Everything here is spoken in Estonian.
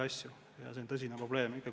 See on tõsine probleem.